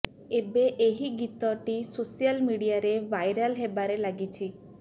ଏବେ ଏହି ଗୀତଟି ସୋଶାଲ୍ ମିଡିଆରେ ଭାଇରାଲ ହେବାରେ ଲାଗିଛି